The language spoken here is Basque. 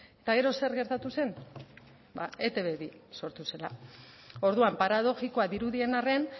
eta gero zer gertatu zen ba etb bi sortu zela orduan paradoxikoa dirudien arren